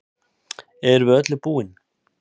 Erum við öllu búin